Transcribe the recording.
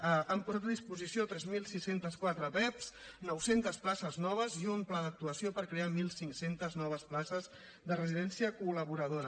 han posat a disposició tres mil sis cents i quatre pevs nou cents places noves i un pla d’actuació per crear mil cinc cents noves places de residència col·laboradora